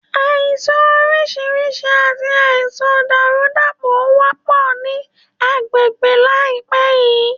Àìsàn orísirísi àti àìsàn dàrúdàpọ̀ ó wọ́pọ̀ ní agbègbè láìpé yìí